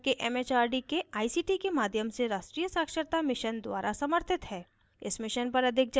यह भारत सरकार के it it आर डी के आई सी टी के माध्यम से राष्ट्रीय साक्षरता mission द्वारा समर्थित है